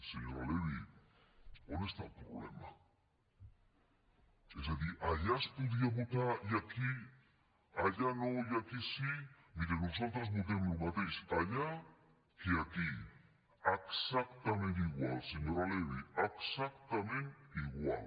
senyora levy on està el problema és a dir allà no es podia votar i aquí sí miri nosaltres votem el mateix allà que aquí exactament igual senyora levy exactament igual